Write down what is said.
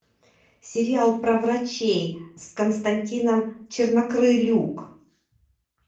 сериал про врачей с константином чернокрылюк